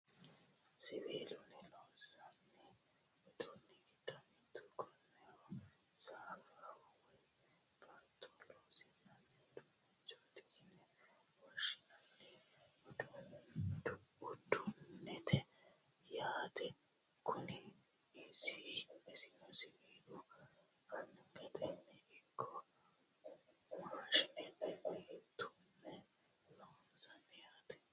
siwiilunni loonsanni uduunni giddo mitto ikkinohu, saaffaho woy baatto loosi'nanni uduunnichooti yine woshshinanni uduunneetti yaate kuni. isono siwiila angatenni ikko maashinetenni tumme loonsanni yaate.